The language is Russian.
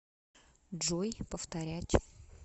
джой повторять